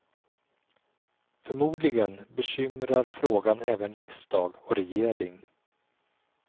Förmodligen bekymrar frågan även riksdag och regering.